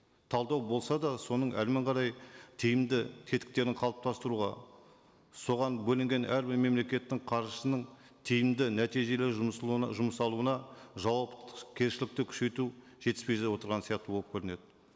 талдау болса да соның қарай тиімді тетіктерін қалыптастыруға соған бөлінген әрбір мемлекеттің қаржысының тиімді нәтижелі жұмсалуына жауапкершілікті күшейту жетіспей отырған сияқты болып көрінеді